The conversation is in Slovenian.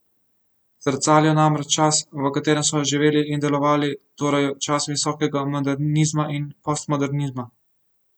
Zrcalijo namreč čas, v katerem so živeli in delovali, torej čas visokega modernizma in postmodernizma.